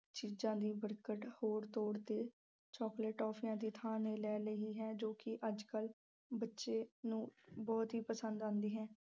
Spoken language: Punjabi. ਚੀਜ਼ਾਂ ਲਈ ਹੋਰ ਤੌਰ ਤੇ ਚਾਕਲੇਟ, ਟਾਫੀਆਂ ਦੀ ਥਾਂ ਨੇ ਲੈ ਲਈ ਹੈ ਜੋ ਕਿ ਅੱਜ ਕੱਲ੍ਹ ਬੱਚਿਆਂ ਨੂੰ ਬਹੁਤ ਹੀ ਪਸੰਦ ਆਉਂਦੀ ਹੈ।